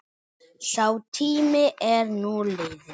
Sá tími er nú liðinn.